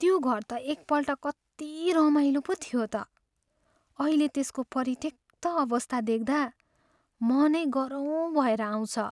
त्यो घर त एकपल्ट कति रमाइलो पो थियो त। अहिले त्यसको परित्यक्त अवस्था देख्दा मनै गह्रौँ भएर आउँछ।